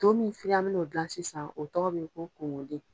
To min filɛ an me na o dilan sisan o tɔgɔ be ko : konkonde.